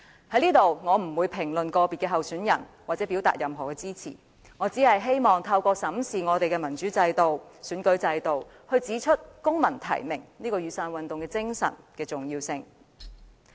我不會在這裏評論個別參選人或對任何人表達支持，我只希望透過審視民主制度和選舉制度，指出公民提名——即雨傘運動的精神——的重要性。